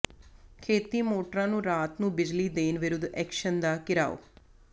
ਖੇਤੀ ਮੋਟਰਾਂ ਨੂੰ ਰਾਤ ਨੂੰ ਬਿਜਲੀ ਦੇਣ ਵਿਰੁੱਧ ਐਕਸ਼ਨ ਦਾ ਿਘਰਾਓ